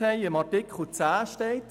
In Artikel 10 steht: